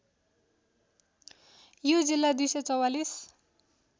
यो जिल्ला २४४